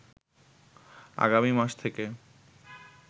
আগামী মাস থেকে